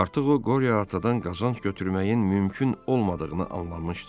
Artıq o Qoriya Atadan qazanc götürməyin mümkün olmadığını anlamışdı.